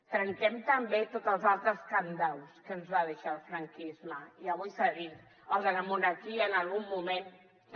trenquem també tots els altres cadenats que ens va deixar el franquisme i avui s’ha dit el de la monarquia en algun moment també